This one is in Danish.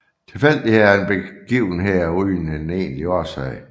Tilfældigheder er begivenheder uden en egentlig årsag